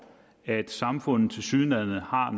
at samfundet tilsyneladende har